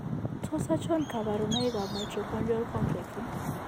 Tos achon kabarunaik Mitochondrial complex ?